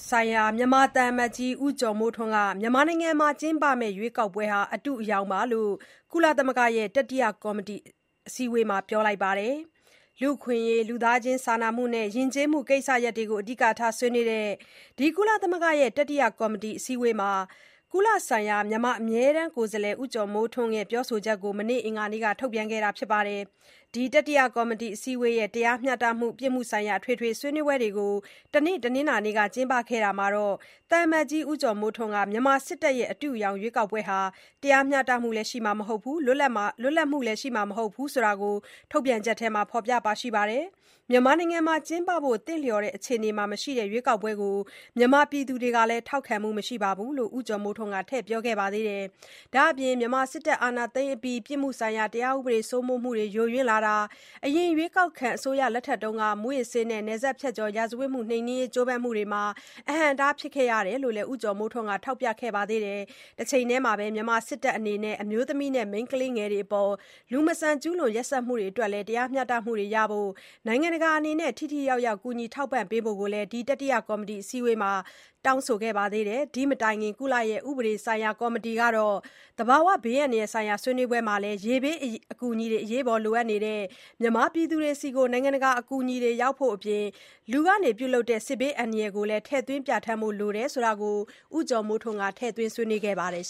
ဆိုင်ရာ မြန်မာသံအမတ်ကြီး ဦးကျော်မိုးထွန်းက မြန်မာရွေးကောက်ပွဲဟာ အတုအယောင်ပါလို့ ကုလရဲ့တတိယကော်မတီမှာ ပြောလိုက်ပါတယ်။ လူ့အခွင့်အရေး၊ လူသားချင်းစာနာမှုနဲ့ ယဉ်ကျေးမှုကိစ္စရပ်တွေဆွေးနွေးတဲ့ ဒီ ကုလသမဂ္ဂရဲ့ တတိယကော်မတီ အစည်းအဝေးမှာ၊ ကုလဆိုင်ရာ မြန်မာ အမြဲတမ်းကိုယ်စားလှယ် ဦးကျော်မိုးထွန်း အခုလို ပြောခဲ့တာကို မနေ့ အင်္ဂါနေ့က ထုတ်ပြန်ခဲ့တာပါ။ ဒီ တတိယကော်မတီ အစည်းအဝေးရဲ့ တရားမျှတမှုနဲ့ ပြစ်မှုဆိုင်ရာ အထွေထွေဆွေးနွေးပွဲကို တနင်္လာနေ့က လုပ်ခဲ့တာမှာ၊ သံအမတ်ကြီး ဦးကျော်မိုးထွန်းက မြန်မာစစ်တပ်ရဲ့ အတုအယောင်ရွေးကောက်ပွဲဟာ တရားမျှတမှုနဲ့ လွတ်လပ်မှုရှိမှာမဟုတ်ဘူးလို့ ဒီထုတ်ပြန်ချက်ထဲ ဖော်ပြခဲ့ပါတယ်။ မြန်မာမှာ ကျင်းပဖို့ သင့်လျော်တဲ့အခြေအနေမှာလည်းမရှိတဲ့ ဒီရွေးကောက်ပွဲကို ပြည်သူတွေကလည်း ထောက်ခံမှုမရှိပါဘူးလို့ ဦးကျော်မိုးထွန်းက ထည့်ပြောခဲ့ပါသေးတယ်။ ဒါ့အပြင် မြန်မာစစ်တပ်အာဏာသိမ်းအပြီး ပြစ်မှုဆိုင်ရာတရားဥပဒေစိုးမိုးမူယိုယွင်းကာ၊ အရင် ရွေးကောက်ခံအစိုးရလက်ထက်က မူးယစ်ဆေးနဲ့ နယ်စပ်ဖြတ်ကကျော် ရာဇဝတ်မှုနှိမ်နင်းရေးကြိုးပမ်းမှုတွေလည်း အဟန့်အတားဖြစ်ခဲ့ရတယ်လို့ ဦးကျော်မိုးထွန်းက ထောက်ပြခဲ့ပါသေးတယ်။ တချိန်ထဲမှာ မြန်မာစစ်တပ်အနေနဲ့ အမျိုးသမီးနဲ့ မိန်းကလေးငယ်တွေအပေါ် လူမဆန်စွာ ကျုးလွန်ရက်စက်မှုတွေအပေါ်လည်း တရားမျှတမှုရရေး နိုင်ငံတကာကနေ ထိထိရောက်ရောက် ကူညီထောက်ပံ့ပေးဖို့ကိုပါ ဒီတတိယကော်မတီအစည်းအဝေးမှာ တောင်းဆိုခဲ့ပါသေးတယ်။ ဒီမတိုင်ခင် ကုလရဲ့ ဥပဒေဆိုင်ရာကော်မတီက သဘာဝဘေးအန္တရာဆိုင်ရာဆွေးနွေးပွဲမှာလည်း၊ ရေဘေးအကူအညီလိုအပ်နေတဲ့ မြန်မာပြည်သူတွေဆီ နိုင်ငံတကာ အကူအညီရောက်နိုင်ဖို့အပြင်၊ လူလုပ်တဲ့ စစ်ဘေးအန္တရာယ်ကိုပါ ထည့်သွင်းပြဋ္ဌာန်းဖို့လိုလာတာကို ဦးကျော်မိုးထွန်းက ထည့်ဆွေးနွေးခဲ့ပါသေးတယ်